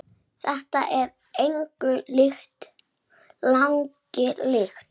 Þetta er engu lagi líkt.